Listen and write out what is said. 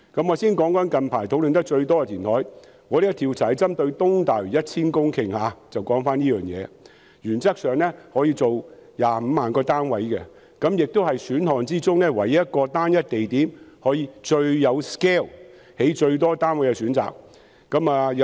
我先談談最近討論得最多的填海，我們這項調查針對的是在東大嶼填海 1,000 公頃的計劃，原則上，可以用來興建25萬個單位，也是各選項中唯一可以在單一地點最大 scale 興建最多單位的選項。